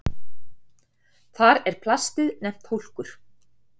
Þar er plastið nefnt hólkur.